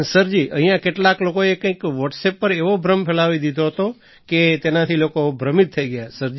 સરજી અહીંયા કેટલાક લોકોએ કંઈક વૉટ્સઍપ પર એવો ભ્રમ ફેલાવી દીધો હતો કે તેનાથી લોકો ભ્રમિત થઈ ગયા